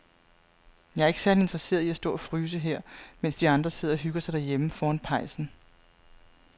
Jeg er ikke særlig interesseret i at stå og fryse her, mens de andre sidder og hygger sig derhjemme foran pejsen.